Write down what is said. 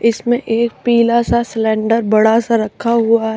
इसमें एक पीला सा सिलेंडर बड़ा सा रखा हुआ --